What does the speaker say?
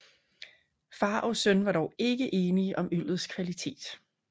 Far og søn var dog ikke enige om øllets kvalitet